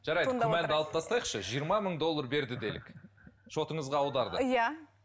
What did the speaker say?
жарайды күмәнді алып тастайықшы жиырма мың доллар берді делік шотыңызға аударды иә